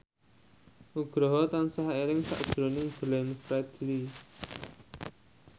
Nugroho tansah eling sakjroning Glenn Fredly